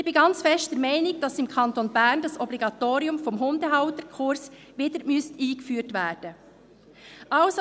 Ich bin ganz fest der Meinung, dass das Obligatorium des Hundehalterkurses im Kanton Bern wieder eingeführt werden muss.